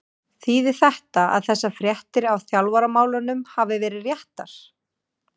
Þýðir þetta að þessar fréttir af þjálfaramálunum hafi verið réttar?